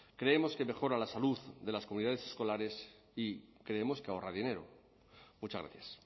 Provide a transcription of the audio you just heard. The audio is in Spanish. creemos que mejora la salud de las comunidades escolares y creemos que ahorra dinero muchas gracias